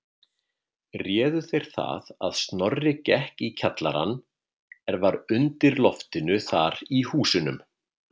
Réðu þeir það að Snorri gekk í kjallarann er var undir loftinu þar í húsunum.